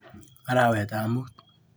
Arawetap muut.